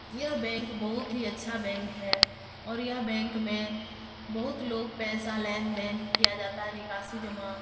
यह बैंक बहुत ही अच्छा बैंक है और यह बैंक में बहुत लोग पैसा लेन देन किया जाता है निकाशी जमा।